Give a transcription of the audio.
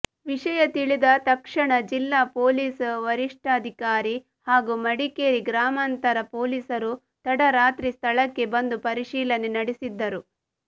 ವಿಷಯ ತಿಳಿದ ತತ್ಕ್ಷಣ ಜಿಲ್ಲಾ ಪೊಲೀಸ್ ವರಿಷ್ಠಾಧಿಕಾರಿ ಹಾಗೂ ಮಡಿಕೇರಿ ಗ್ರಾಮಾಂತರ ಪೊಲೀಸರು ತಡರಾತ್ರಿ ಸ್ಥಳಕ್ಕೆ ಬಂದು ಪರಿಶೀಲನೆ ನಡೆಸಿದ್ದರು